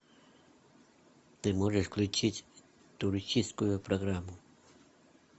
ты можешь включить туристическую программу